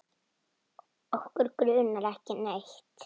Okkur grunar ekki neitt.